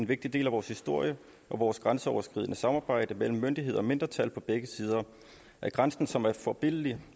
vigtig del af vores historie og vores grænseoverskridende samarbejde mellem myndigheder og mindretal på begge sider af grænsen som er forbilledligt